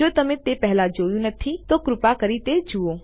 જો તમે તે પહેલા જોયું નથી તો કૃપા કરી તે જુઓ